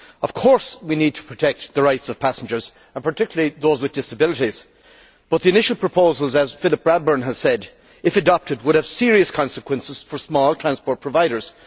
Of course, we need to protect the rights of passengers, and particularly those with disabilities, but the initial proposal as Philip Bradbourn has said if adopted, would have serious consequences for small transport providers.